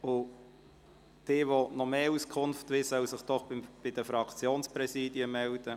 Wer weitere Auskunft wünscht, soll sich bitte bei den Fraktionspräsidien melden.